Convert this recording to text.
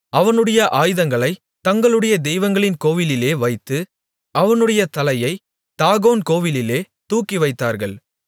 அவனுடைய ஆயுதங்களைத் தங்களுடைய தெய்வங்களின் கோவிலிலே வைத்து அவனுடைய தலையைத் தாகோன் கோவிலிலே தூக்கிவைத்தார்கள்